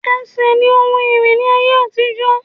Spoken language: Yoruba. Ẹsẹ̀ ní ohun ìrìn ní ayé àtijó